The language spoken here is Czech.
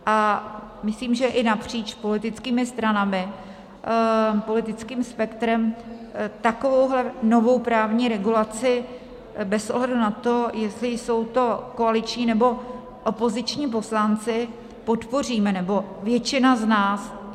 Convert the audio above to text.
A myslím, že i napříč politickými stranami, politickým spektrem takovouhle novou právní regulaci bez ohledu na to, jestli jsou to koaliční, nebo opoziční poslanci, podpoříme, nebo většina z nás.